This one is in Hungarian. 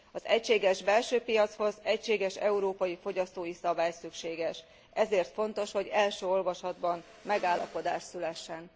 Az egységes belső piachoz egységes európai fogyasztói szabály szükséges. Ezért fontos, hogy első olvasatban megállapodás szülessen.